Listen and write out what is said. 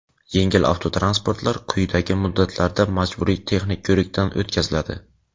yengil avtomototransportlar quyidagi muddatlarda majburiy texnik ko‘rikdan o‘tkaziladi:.